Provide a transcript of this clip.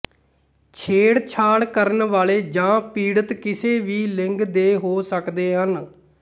ਛੇੜਛਾੜ ਕਰਨ ਵਾਲੇ ਜਾਂ ਪੀੜਤ ਕਿਸੇ ਵੀ ਲਿੰਗ ਦੇ ਹੋ ਸਕਦੇ ਹਨ